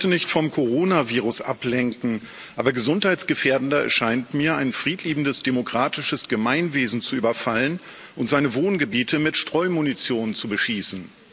Ich möchte nicht vom Corona Virus ablenken, aber gesundheitsgefährdender erscheint mir, ein friedliebendes, demokratisches Gemeinwesen zu überfallen und seine Wohngebiete mit Streumunition zu beschießen.